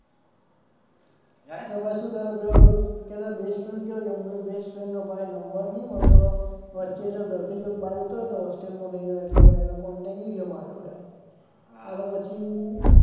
કે તારો best friend કયા ગયો. મેં કીધું ભાઈ best friend નો નંબર નહીં મળતો વચ્ચે એ ઘર થી ચોક બહાર જતો રહ્યો તો હોસ્ટેલ માં કે અહિયાં એટલે પછી એનો contact નહીં થયો માર જોડે કા તો પછી